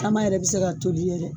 Caman yɛrɛ bɛ se ka toli yɛrɛ